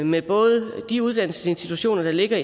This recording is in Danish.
med både de uddannelsesinstitutioner der ligger